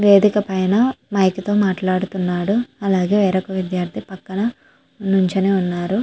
వేదిక పైన మైక్ తో మాట్లాడుతున్నాడు అలాగే వేరొక విద్యార్ధి పక్కన నుంచొని ఉన్నారు.